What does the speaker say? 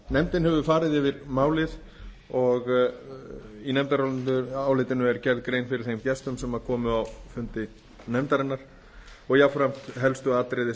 nefndin hefur farið yfir málið og í nefndarálitinu er gerð grein fyrir þeim gestum sem komu á fundi nefndarinnar og jafnframt helstu atriði